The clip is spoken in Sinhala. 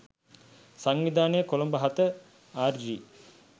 සංවිධානය කොළඹ 07 ආර්.ජී.